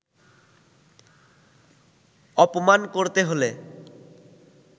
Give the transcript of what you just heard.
অপমান করতে হলে